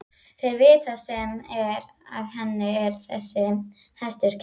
Þeir vita sem er að henni er þessi hestur kær.